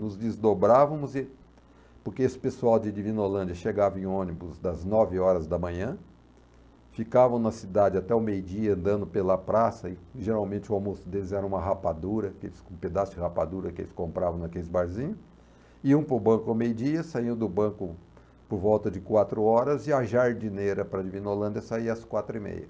Nos desdobrávamos, e, porque esse pessoal de Divinolândia chegava em ônibus das nove horas da manhã, ficavam na cidade até o meio-dia andando pela praça, e geralmente o almoço deles era uma rapadura, que eles, um pedaço de rapadura que eles compravam naqueles barzinhos, iam para o banco ao meio-dia, saiam do banco por volta de quatro horas, e a jardineira para Divinolândia saia às quatro e meia.